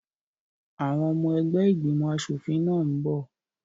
Àwọn ọmọ ẹgbẹ́ ìgbìmọ̀ aṣòfin náà n bọ̀